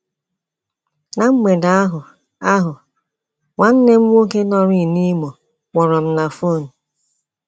Ná mgbede ahụ ahụ, nwanne m nwoke nọrịị n’Imo kpọrọ m na fon.